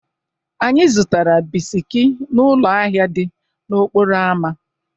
Anyị zụtara bisiki n'ụlọ ahịa dị n'okporo ámá.